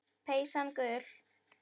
Peysan gul.